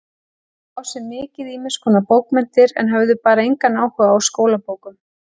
Þeir lásu mikið ýmiskonar bókmenntir en höfðu bara engan áhuga á skólabókum.